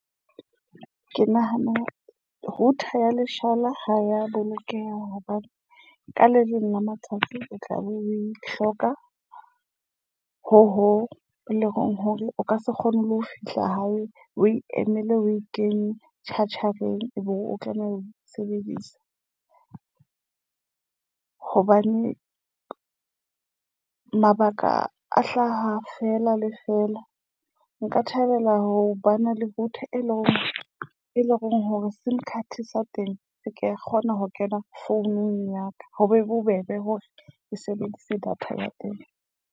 Ke nahana router ya leshala ha ya bolokeha, hobane ka le leng la matsatsi o tla be o e hloka. Ho ho leng hore o ka se kgone le ho fihla hae o e emele o e kenye Church Share ebe o tlameha ho sebedisa hobane mabaka a hlaha fela le fela. Nka thabela ho bana le router, e leng hore e leng hore sim card sa teng se ke kgona ho kena founung ya ka. Ho be bobebe hore ke sebedise data ya teng.